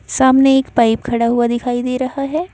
सामने एक पाइप खड़ा हुआ दिखाई दे रहा है।